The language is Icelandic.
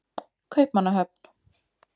Kaupmannahöfn